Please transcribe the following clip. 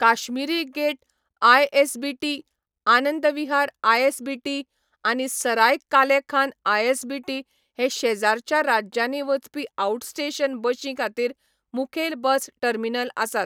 Kashmiri Gate ISBT, Anand Vihar ISBT, आनी Sarai Kale Khan ISBT हे शेजारच्या राज्यांनी वचपी आउटस्टेशन बशीं खातीर मुखेल बस टर्मिनल आसात.